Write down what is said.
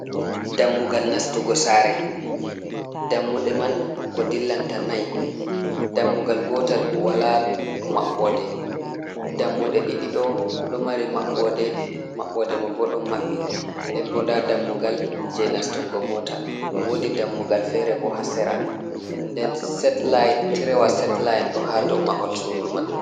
Dammugal nastugo sare dammuɗe man ko dillanta nai dammugal gotal wala maɓɓode, dammuɗe ɗiɗi ɗo ɗo mari maɓɓode man boɗon maɓɓi, nden bo nda dammugal je nastugo mota wodi dammugal fere bo hasera nden set-line tirewa set-line ɗo ha dow mahol sudu man.